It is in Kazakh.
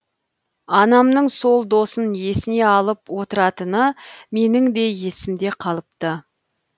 анамның сол досын есіне алып отыратыны менің де есімде қалыпты